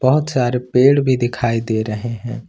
बहुत सारे पेड़ भी दिखाई दे रहे हैं।